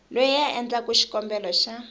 loyi a endlaku xikombelo xa